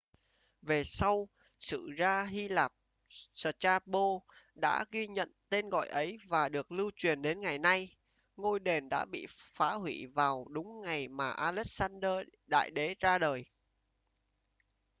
về sau sử gia hy lạp strabo đã ghi nhận tên gọi ấy và được lưu truyền đến ngày nay ngôi đền đã bị phá hủy vào đúng ngày mà alexander đại đế ra đời